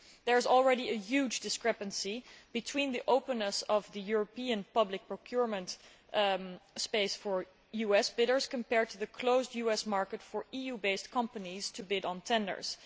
There is already a huge discrepancy between the openness of the European public procurement space for US bidders compared to the closed US market for EU based companies to bid on tenders.